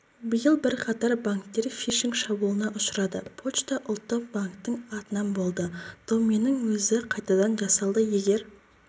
биыл бірқатар банктер фишинг шабуылына ұшырады пошта ұлттық банктің атынан болды доменнің өзі қайтадан жасалды егер